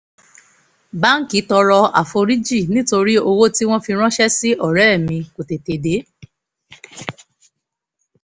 báńkì tọrọ àforíjì nítorí owó tí wọ́n fi ránṣẹ́ sí ọ̀rẹ́ mi kò tètè dé